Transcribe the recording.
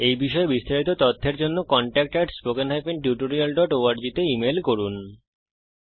এই বিষয়ে বিস্তারিত তথ্যের জন্য contact at spoken hyphen tutorial dot org তে ইমেল করুন